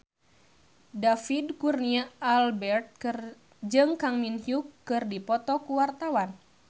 David Kurnia Albert jeung Kang Min Hyuk keur dipoto ku wartawan